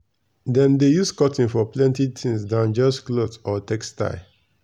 dem dey use cotton for plenty thing dan just cloth or textile.